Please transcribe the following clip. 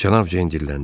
Cənab Ceyn dirləndi.